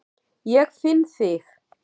Ég finn þig.